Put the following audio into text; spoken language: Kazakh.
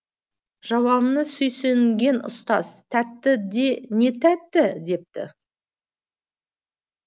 жауабына сүйсінген ұстаз тәтті де не тәтті депті